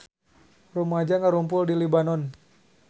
Rumaja ngarumpul di Libanon